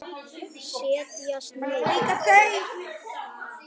Setjast niður og slappa af.